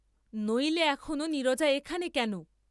নইলে এখনো নীরজা এখানে কেন?